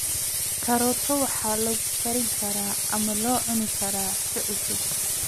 Karooto waxaa lagu kari karaa ama la cuni karaa si cusub.